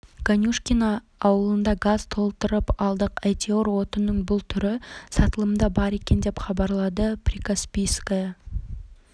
ганюшкино ауылында газ толтырып алдық әйтеуір отынның бұл түрі сатылымда бар екен деп хабарлады прикаспийская